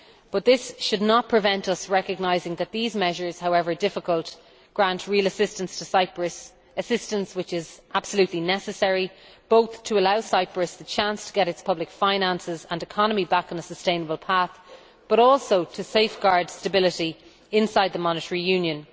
But this should not prevent us from recognising that these measures, however difficult, grant real assistance to Cyprus assistance which is absolutely necessary, both to allow Cyprus the chance to get its public finances and economy back on a sustainable path and to safeguard stability inside the monetary union.